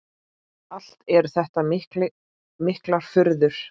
Allt eru þetta miklar furður.